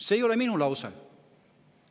See ei ole minu lause.